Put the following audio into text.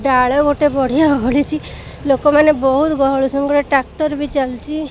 ଡ଼ାଳ ଗୋଟେ ବଢିଆ ଓହଳିଛି ଲୋକ ମାନେ ବହୁତ ଟ୍ରାକ୍ଟର ଵି ଚାଲିଛି।